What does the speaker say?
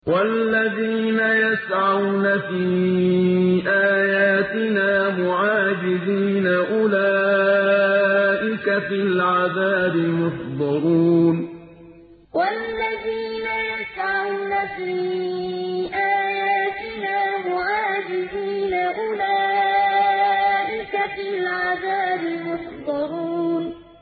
وَالَّذِينَ يَسْعَوْنَ فِي آيَاتِنَا مُعَاجِزِينَ أُولَٰئِكَ فِي الْعَذَابِ مُحْضَرُونَ وَالَّذِينَ يَسْعَوْنَ فِي آيَاتِنَا مُعَاجِزِينَ أُولَٰئِكَ فِي الْعَذَابِ مُحْضَرُونَ